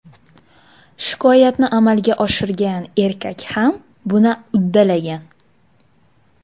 Shikoyatni amalga oshirgan erkak ham buni uddalagan.